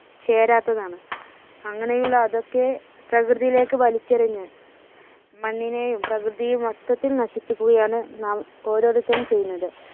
ചേരാത്തതാണ്. അങ്ങനെയുള്ള അതൊക്കെ പ്രകൃതിയിലേക്ക് വലിച്ചെറിഞ്ഞ് മണ്ണിനെയും പ്രകൃതിയെയും മൊത്തത്തിൽ നശിപ്പിക്കുകയാണ് നാം ഓരോരുത്തരും ചെയ്യുന്നത്.